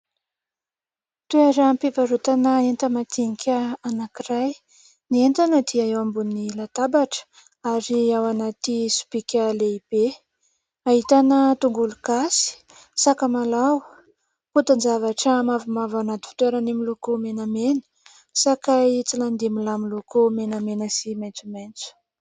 Toeram-pivarotana enta-madinika anankiray. Ny entana dia eo ambony latabatra ary ao anaty sobika lehibe. Ahitana tongolo gasy, sakamalaho, potin-javatra mavomavo ao anaty fitoerany miloko menamena, sakay tsilanindimilahy miloko menamena sy maitsomaitso.